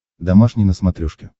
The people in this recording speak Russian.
домашний на смотрешке